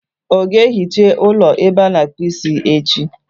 Ọ ga-ehicha ụlọ ebe ọ na-akpụ isi echi?